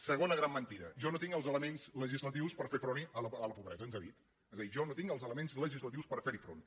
segona gran mentida jo no tinc els elements legislatius per fer front a la pobresa ens ha dit és a dir jo no tinc els elements legislatius per ferhi front